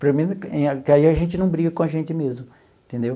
Pelo menos que aí a gente não briga com a gente mesmo, entendeu?